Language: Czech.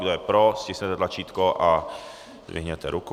Kdo je pro, stiskněte tlačítko a zdvihněte ruku.